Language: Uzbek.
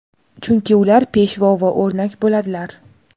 Chunki ular peshvo va o‘rnak bo‘ladilar.